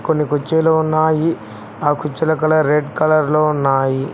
కొన్ని కుర్చీలు ఉన్నాయి ఆ కుర్చీల కలర్ రెడ్ కలర్ లో ఉన్నాయి.